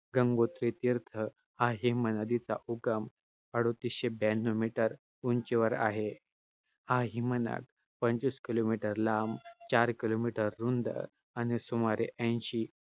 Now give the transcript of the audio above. गंगोत्री तीर्थ हा हिमनदीचा उगम अडोतीसशे ब्यांन्नव meter उंचीवर आहे. हा हिमनग पंचवीस kilometer लांब, चार kilometer रुंद आणि सुमारे ऐंशी~